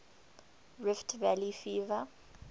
rift valley fever